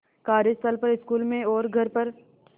कार्यस्थल पर स्कूल में और घर पर